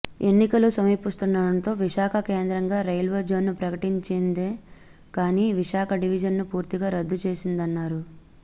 ఎన్నికలు సమీపిస్తుండడంతో విశాఖ కేంద్రంగా రైల్వేజోన్ను ప్రకటించిందే కానీ విశాఖ డివిజన్ను పూర్తిగా రద్దు చేసిందన్నారు